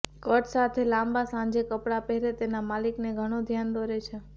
cut સાથે લાંબા સાંજે કપડાં પહેરે તેના માલિકને ઘણો ધ્યાન દોરે છે